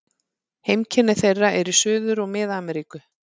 Heimkynni þeirra eru í Suður- og Mið-Ameríku.